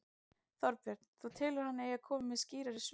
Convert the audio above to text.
Þorbjörn: Þú telur að hann eigi að koma með skýrari svör?